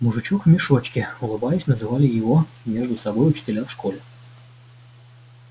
мужичок в мешочке улыбаясь называли его между собой учителя в школе